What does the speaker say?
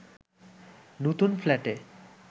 নতুন ফ্ল্যাটে